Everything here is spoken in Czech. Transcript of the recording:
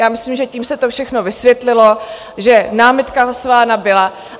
Já myslím, že tím se to všechno vysvětlilo, že námitka hlasována byla.